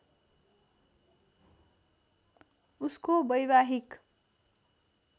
उसको वैवाहिक